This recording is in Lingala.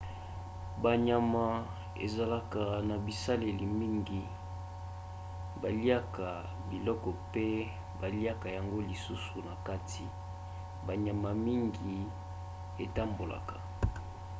banyama ezalaka na baselile mingi. baliaka biloko mpe baliaka yango lisusu na kati. banyama mingi etambolaka